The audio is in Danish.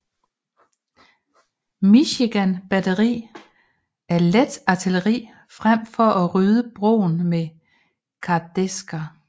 Michigan batteri af let artilleri frem for at rydde broen med kardæsker